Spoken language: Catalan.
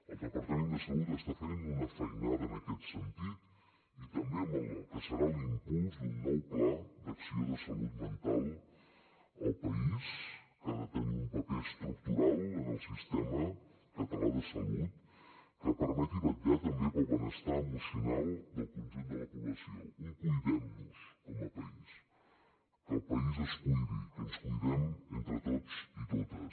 el departament de salut està fent una feinada en aquest sentit i també en el que serà l’impuls d’un nou pla d’acció de salut mental al país que ha de tenir un paper estructural en el sistema català de salut que permeti vetllar també pel benestar emocional del conjunt de la població un cuidem nos com a país que el país es cuidi que ens cuidem entre tots i totes